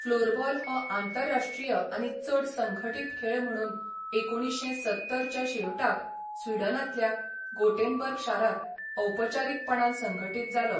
Floorball हो आंतरराश्ट्रीय आनी चड संघटीत खेळ म्हणून एकुणीश्शें सत्तर च्या शेवटाक स्विडनांतल्या गोटेनबर्ग शारांत औपचारीकपणान संघटीत जालो.